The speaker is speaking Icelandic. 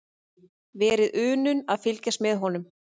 Verið unun að fylgjast með honum.